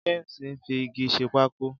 James ń fi igi ṣe pákó.